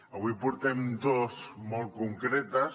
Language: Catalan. avui en portem dos molt concretes